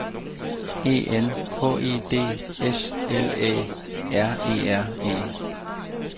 E N H E D S L Æ R E R E